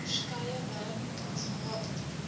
verskeie werkswinkels gehad